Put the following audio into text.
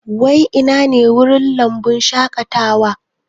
Wai ina ne wurin lambun shaƙatawan?